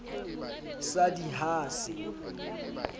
sa d i ha se